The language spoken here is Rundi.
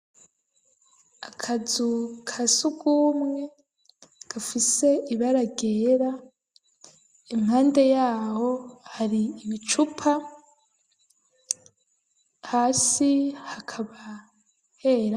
Akazu ka sugumwe gafise ibara ryera impande yaho hari ibicupa hasi hakaba hera.